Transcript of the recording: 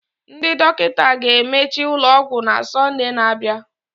Ndị dọkịta ga-emechi ụlọ ọgwụ na Sọnde na-abịa